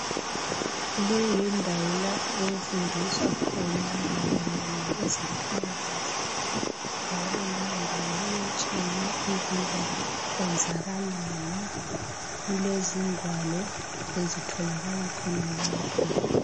Le yindawo lapho okufundiswa khona mayelana lokwezempilakahle, njalo lendawo ilothsiwe ukuba kwenzakalani. Kulezingwalo ezitholakala khonalapho.